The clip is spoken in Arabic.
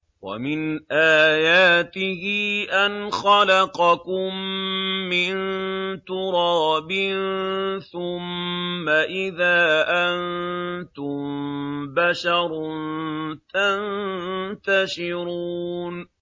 وَمِنْ آيَاتِهِ أَنْ خَلَقَكُم مِّن تُرَابٍ ثُمَّ إِذَا أَنتُم بَشَرٌ تَنتَشِرُونَ